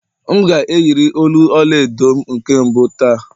M ga-eyiri olu ọla edo m nke mbụ taa